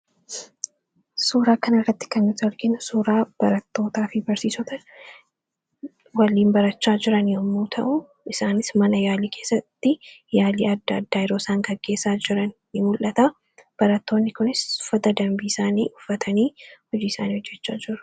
suuraa kan irratti kannuti arginu suuraa barattootaa fi barsiisota waliin barachaa jiran yommuu ta'u isaanis mana yaalii keessatti yaalii adda addaa yiroosaan kaggeessaa jiran ni mul'ata barattoonni kunis uffata dambii isaanii uffatanii hojii isaanii hojjechaa jiru.